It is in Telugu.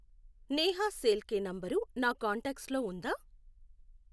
నేహా శేల్కే నంబరు నా కాంటాక్ట్స్ లో ఉందా